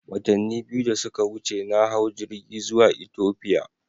Watanni biyu da suka wuce, na hau jirgi zuwa Ethiopia.